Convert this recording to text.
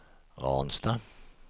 Ransta